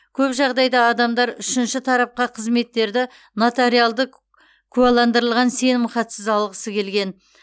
көп жағдайда адамдар үшінші тарапқа қызметтерді нотариалды куәландырылған сенімхатсыз алғысы келген